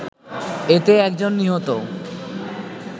এতে একজন নিহত